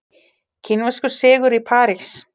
Kínverskur sigur í París